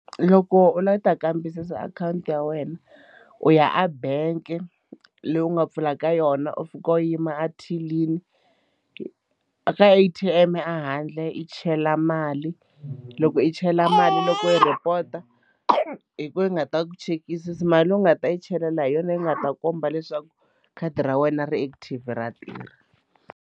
Loko u lava ku ta kambisisa akhawunti ya wena u ya a bank leyi u nga pfulaka ka yona u fika u yima a thilini ka A_T_M a handle i chele mali loko i chela mali loko i report-a hi koho yi nga ta ku chekisisa mali leyi u nga ta yi chela la hi yona yi nga ta komba leswaku khadi ra wena ri active ra tirha.